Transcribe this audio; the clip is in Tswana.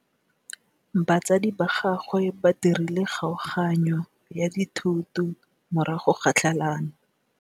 Batsadi ba gagwe ba dirile kgaoganyô ya dithoto morago ga tlhalanô.